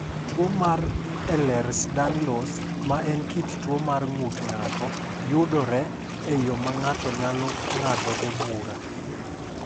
Tuwo mar Ehlers Danlos, ma en kit tuwo mar ng’ut ng’ato, yudore e yo ma ng’ato nyalo ng’adogo bura.